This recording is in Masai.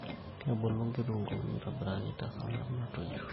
Kebulu nkitunguni aitobirakii te sangarb natoiyo